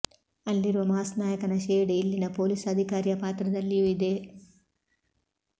ಅಲ್ಲಿರುವ ಮಾಸ್ ನಾಯಕನ ಶೇಡ್ ಇಲ್ಲಿನ ಪೊಲೀಸ್ ಅಧಿಕಾರಿಯ ಪಾತ್ರದಲ್ಲಿಯೂ ಇದೆ